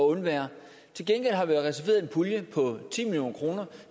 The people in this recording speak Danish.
undvære til gengæld har vi reserveret en pulje på ti million kroner